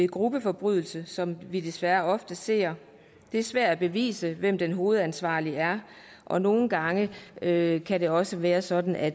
gruppeforbrydelser som vi desværre ofte ser det er svært at bevise hvem den hovedansvarlige er og nogle gange kan kan det også være sådan at